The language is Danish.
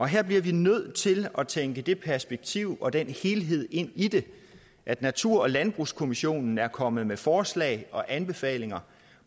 her bliver vi nødt til at tænke det perspektiv og den helhed ind i det at natur og landbrugskommissionen er kommet med forslag og anbefalinger